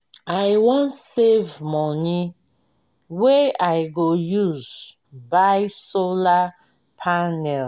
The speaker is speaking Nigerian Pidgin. i wan save moni wey i go use buy solar panel.